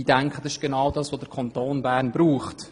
Ich denke, das ist genau das, was der Kanton Bern braucht.